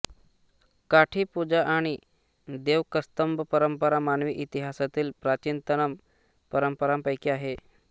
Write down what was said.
काठी पूजा आणि देवकस्तंभ परंपरा मानवी इतिहासातील प्राचीनतम परंपरांपैकी आहेत